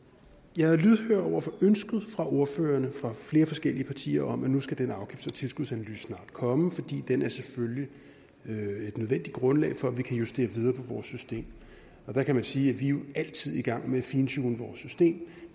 jeg er lydhør over for ønsket fra ordførerne fra flere forskellige partier om at nu skal den afgifts og tilskudsanalyse snart komme fordi den selvfølgelig er et nødvendigt grundlag for at vi kan justere videre på vores system og der kan man sige at vi jo altid er i gang med at fintune vores system